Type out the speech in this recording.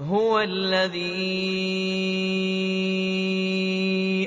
هُوَ الَّذِي